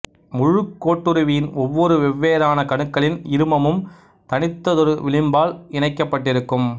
முழுக்கோட்டுருவின் ஒவ்வொரு வெவ்வேறான கணுக்களின் இருமமும் தனித்ததொரு விளிம்பால் இணைக்கப்பட்டிருக்கும்